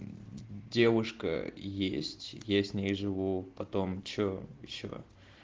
девушка есть я с ней живу потом что ещё